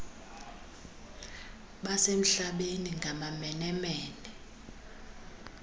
basemhlabeni ngamamene mene